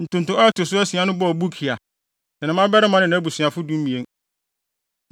Ntonto a ɛto so asia no bɔɔ Bukia, ne ne mmabarima ne nʼabusuafo (12)